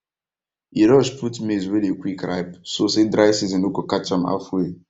e rush put maize wey dey quick ripe so say dry season no go catch am halfway